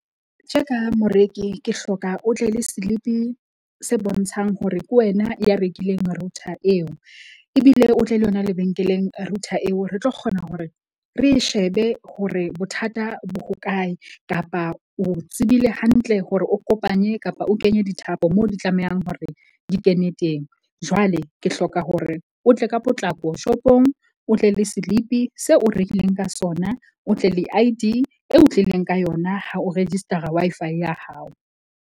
Tje ka moreki ke hloka o tle le slip-i se bontshang hore ke wena ya rekileng router eo. Ebile o tle le yona lebenkeleng router eo. Re tlo kgona hore re e shebe hore bothata bo hokae kapa o tsebile hantle hore o kopanye kapa o kenye dithapo mo di tlamehang hore di kene teng. Jwale ke hloka hore o tle ka potlako shop-ong, o tle le silipi seo o rekileng ka sona. O tle le I_D eo o tlileng ka yona ha o register-a Wi-Fi ya hao.